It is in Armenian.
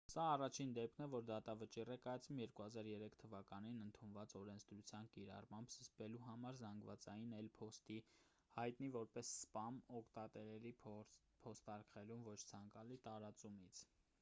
սա առաջին դեպքն է որ դատավճիռ է կայացվում 2003 թ.-ին ընդունված օրենսդրության կիրառմամբ՝ զսպելու համար զանգվածային էլ. փոստի հայտնի որպես «սպամ» օգտատերերի փոստարկղերում ոչ ցանկալի տարածումից։